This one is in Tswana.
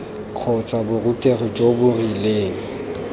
kgotsa borutegi jo bo rileng